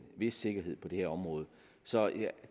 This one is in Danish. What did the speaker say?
vis sikkerhed på det her område så